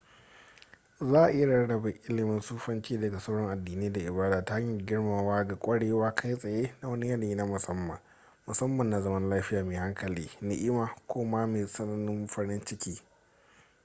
za a iya rarrabe ilimin sufanci daga sauran addinai da ibada ta hanyar girmamawa ga kwarewar kai tsaye na wani yanayi na musamman musamman na zaman lafiya mai hankali ni'ima ko ma mai tsananin farin ciki